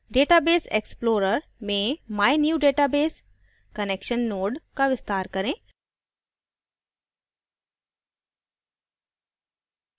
database explorer में mynewdatabase connection node का विस्तार करें